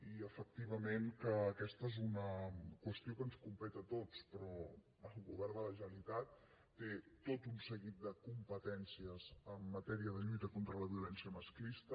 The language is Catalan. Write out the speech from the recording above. i efectivament aquesta és una qüestió que ens competeix a tots però el govern de la generalitat té tot un seguit de competències en matèria de lluita contra la violència masclista